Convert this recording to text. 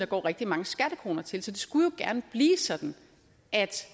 går rigtig mange skattekroner til så det skulle gerne blive sådan at